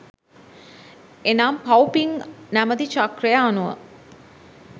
එනම් පව් පින් නැමති චක්‍රය අනුව